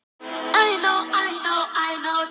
Hann benti Tinnu á það.